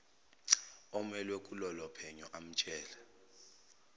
omelwe kulolophenyo amtshele